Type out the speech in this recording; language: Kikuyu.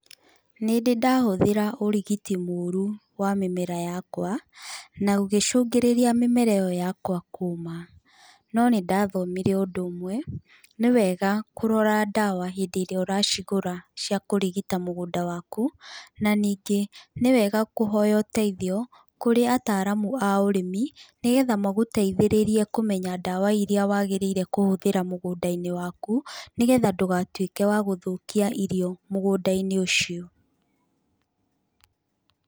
Nĩ ndĩ ndahũthĩra ũrigiti mũru wa mĩmera yakwa, na ũgĩcũngĩrĩria mĩmera ĩyo yakwa kũma. No nĩ ndathomire ũndũ ũmwe ni wega kũrora ndawa hindĩ ĩria ũracigũra cia kũrigita mũgũnda waku, na ningĩ nĩ wega kũhoya ũteithio kũrĩ ataramu a ũrĩmi, nĩgetha magũteithĩrĩrie kũmenya ndawa ĩria wagĩrĩire kũhũthĩra mũgũnda-inĩ waku, nĩgetha ndũgatuĩke wagũthũkia irio mũgũnda-inĩ ũcĩo.